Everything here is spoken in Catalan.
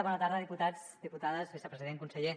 bona tarda diputats diputades vicepresident conseller